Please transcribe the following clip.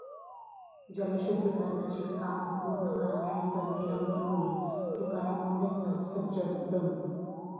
जलशुद्धीकरणाची कामं पूर्ण करा नाहीतर निलंबन होईल, तुकाराम मुंढेंचा सज्जड दम